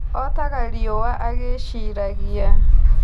Otaga riũwa agĩĩciragia.